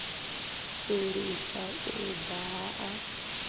u litsha u daha a